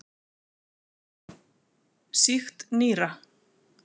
Sýkt nýra.